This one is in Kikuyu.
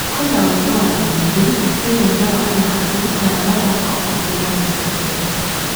Kwĩna ũiguano mũinge mũbirainĩ wa gĩkabũ kana mũthako ũngĩ na mũtũrire